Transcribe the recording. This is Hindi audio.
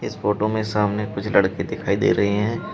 इस फोटो में सामने कुछ लड़के दिखाई दे रहे हैं।